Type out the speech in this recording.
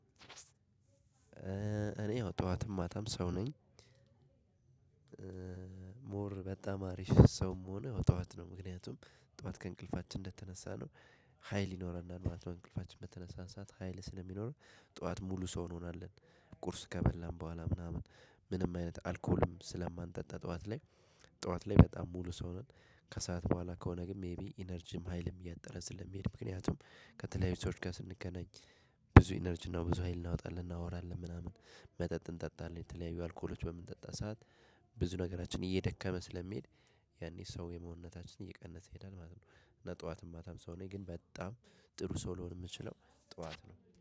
እኔ ያው ጠዋትም ማጣም ሰው ነኝ። ሞር በጣም አሪፍ ሰውም ሆነ ጠዋት ነው ምክንያቱም ጠዋት ከእንቅልፋችን እንደተነሳ ነው። ሀይል ይኖራል ማለት ነው እንቅልፋችን በተነሳን ሰዓት ሀይል ስለሚኖረን ጠዋት ሙሉ ሰው እንሆናለን። ቁርስ ከበላን በኋላ ምናምን ምንም አይነት አልኮልም ስለማንጠጣ ጠዋት ላይ ጠዋት ላይ በጣም ሙሉ ሰው ነን። ከሰአት በኋላ ከሆነ ግን ሜይቢ ኢነርጂም ሀይልም እያጠረጽልን ምክንያቱም ከተለያዩ ሰዎች ጋር ስንገናኝ። ብዙ ኢነርጂ ነው ብዙ ሀይል እናወጣለን እናወራለን ምናምን መጠጥ እንጠጣለን የተለያዩ አልኮሎች በምንጠጣ ሰዓት። ብዙ ነገራችን እየደከመ ስለሚሄድ ያኔ ሰው የመሆንነታችን እየቀነሰ ይሄዳል ማለት ነው። እና ጠዋትም ማታም ሰው ነኝ ግን በጣም ጥሩ ሰው ልሆን የምችለው ጠዋት ነው